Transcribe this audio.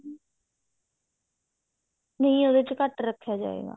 ਨਹੀ ਉਹਦੇ ਚ ਘੱਟ ਰੱਖਿਆ ਜਾਵੇਗਾ